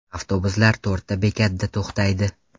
Avtobuslar to‘rtta bekatda to‘xtaydi.